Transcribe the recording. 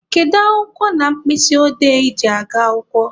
Kedu akwụkwọ na mkpịsị odee I ji aga akwụkwọ?